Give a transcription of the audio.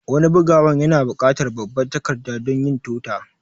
Wani bugawan yana bukatar babban takarda dunyin tota